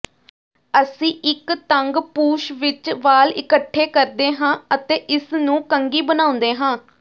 ਅਸੀਂ ਇੱਕ ਤੰਗ ਪੂਛ ਵਿੱਚ ਵਾਲ ਇਕੱਠੇ ਕਰਦੇ ਹਾਂ ਅਤੇ ਇਸ ਨੂੰ ਕੰਘੀ ਬਣਾਉਂਦੇ ਹਾਂ